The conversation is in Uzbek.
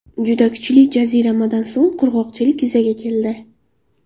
Juda kuchli jaziramadan so‘ng qurg‘oqchilik yuzaga keldi.